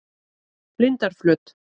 Lindarflöt